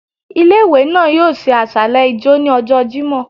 Ìlé-ìwé náá yoo ṣe àsàlẹ ijọ́ ni ọjọ Jimọ